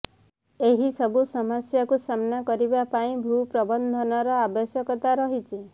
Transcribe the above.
ଏହି ସବୁ ସମସ୍ୟାକୁ ସାମ୍ନା କରିବା ପାଇଁ ଭୂ ପ୍ରବନ୍ଧନର ଆବଶ୍ୟକତା ରହିଛି